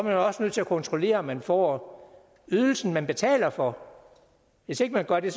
jo også nødt til at kontrollere om man får ydelsen man betaler for hvis ikke man gør det